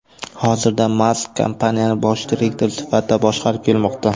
Hozirda Mask kompaniyani bosh direktor sifatida boshqarib kelmoqda.